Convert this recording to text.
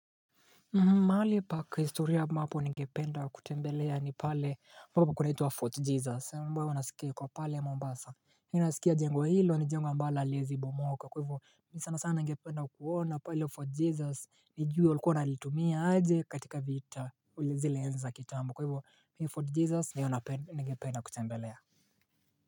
Mahali pakihistoria ambapo ningependa kutembelea ni pale ambapo kunaitwa Fort Jesus ambayo nasikia iko pale Mombasa mimi nasikia jengwo hilo ni jengo ambalo haliwezi bomoka kwa hivyo mimi sana sana ningependa kuona pale Fort Jesus nijue walikua wanalitumia aje katika vita zile zilianza kitambo kwa hivyo mi Fort Jesus Ndiyo nigependa kutembelea.